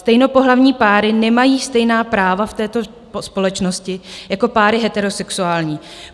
Stejnopohlavní páry nemají stejná práva v této společnosti jako páry heterosexuální.